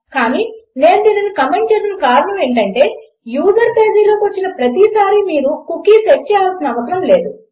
కానీ నేను దీనిని కమెంట్ చేసిన కారణం ఏమిటంటే యూజర్ పేజ్లోకి వచ్చిన ప్రతి సారీ మీరు కుకీ సెట్ చేయాల్సిన అవసరం లేదు